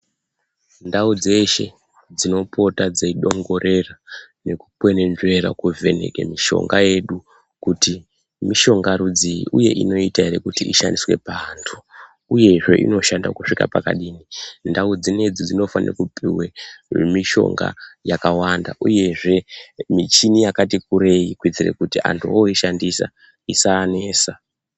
Ndau dzeshe dzinopota dzeidongorera nekukwenenzvera kuvheneke mishonga yedu kuti mishonga rudzii uye inoita ere kuti inoita ere kushanda paantu uyezve inoshanda kusvika pakadini ndau dzinedzi dzinofane kupuwe nemishonga yakawanda uyezve michini yakati kurei kuitira kuti antu ooishandisa isaanesa.